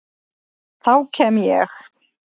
Þá kem ég